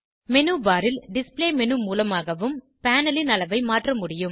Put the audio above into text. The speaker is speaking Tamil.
மேனு பார் ல் டிஸ்ப்ளே மேனு மூலமாகவும் பேனல் ன் அளவை மாற்ற முடியும்